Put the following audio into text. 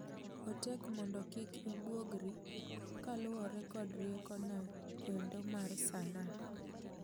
Otek mondo kik ibwogri kaluore kod riekono endo mar sanaa.